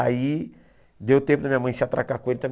Aí deu tempo da minha mãe se atracar com ele também.